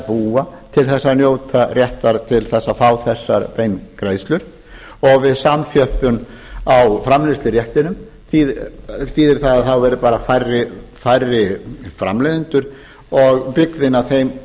búa til þess að njóta réttar til þess fá þessar beingreiðslur og við samþjöppun á framleiðsluréttinum þýðir það að þá verði bara færri framleiðendur og byggðin getur af þeim